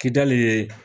Kidali ye